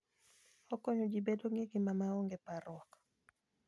Okonyo ji bedo gi ngima ma onge parruok.